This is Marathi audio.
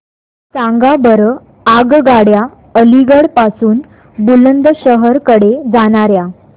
सांगा बरं आगगाड्या अलिगढ पासून बुलंदशहर कडे जाणाऱ्या